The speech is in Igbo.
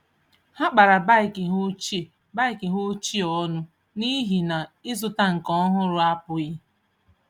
Ha kpara bike ha ochie bike ha ochie ọnụ n’ihi na ịzụta nke ọhụrụ apụghị.